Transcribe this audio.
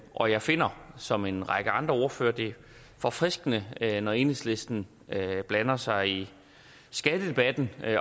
og jeg finder som en række andre ordførere det forfriskende når enhedslisten blander sig i skattedebatten